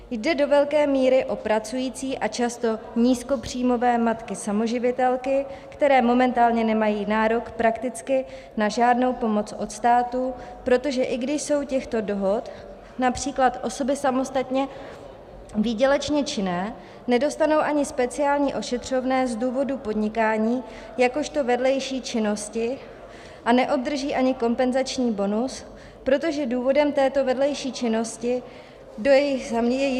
Jde do velké míry o pracující a často nízkopříjmové matky samoživitelky, které momentálně nemají nárok prakticky na žádnou pomoc od státu, protože i když jsou těchto dohod (?), například osoby samostatně výdělečně činné, nedostanou ani speciální ošetřovné z důvodu podnikání jakožto vedlejší činnosti a neobdrží ani kompenzační bonus, protože důvodem této vedlejší činnosti je jejich zaměstnání.